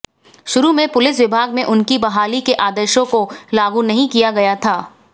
शुरू में पुलिस विभाग में उनकी बहाली के आदेशों को लागू नहीं किया गया था